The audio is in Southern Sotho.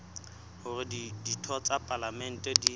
hore ditho tsa palamente di